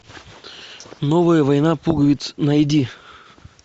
новая война пуговиц найди